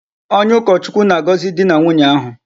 Onye ukochukwu na-agozi di na nwunye ahu